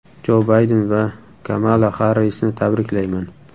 Jo Bayden va Kamala Xarrisni tabriklayman”.